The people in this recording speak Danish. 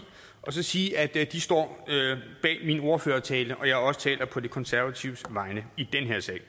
og sige at de står bag min ordførertale og at jeg også taler på de konservatives vegne i den her sag